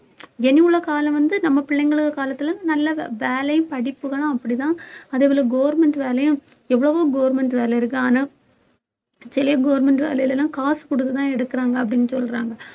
இனியுள்ள காலம் வந்து நம்ம பிள்ளைங்களோட காலத்துல நல்லா வேலையும் படிப்புகளும் அப்படிதான் அதே போல government வேலையும் எவ்வளவோ government வேலை இருக்கு ஆனா சில government வேலையில எல்லாம் காசு கொடுத்துதான் எடுக்குறாங்க அப்படின்னு சொல்றாங்க